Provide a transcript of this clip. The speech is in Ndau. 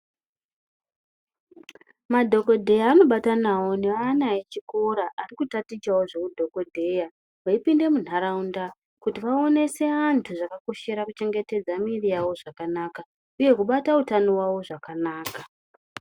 Madhokodheya anobatanawo nevana vechikora vari kutatichawo zvehudhokodheya. Veipinda muntaraunda kuti vaonese vantu zvakakoshera kuchengetedza miri yawo zvakanaka uye kubata hutano wavo zvakanaka.